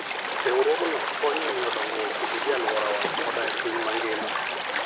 Riwruogno konyo e miyo dongruok obedie e alworawa koda e piny mangima.